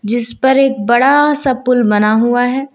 इस पर एक बड़ा सा पुल बना हुआ है।